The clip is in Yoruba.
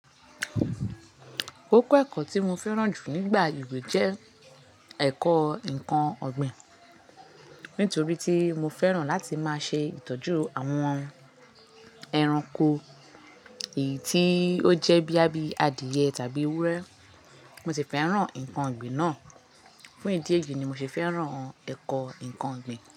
Kókó ẹ̀kọ́ tí mo fẹ́ràn jù nígbà ìwé jẹ́ ẹ̀kọ́ ǹkan ọ̀gbìn, nítorí tí mo fẹ́ràn láti ma ṣe ìtọ́jú àwọn ẹranko, èyí tí ó jẹ́ bíi, bóyá bí adìẹ tàbí ewúrẹ́. Mo sì fẹ́ràn ǹkan ọ̀gbìn náà, fún ìdí èyí ni mo ṣe fẹ́ràn ẹ̀kọ́ ǹkan ọ̀gbìn.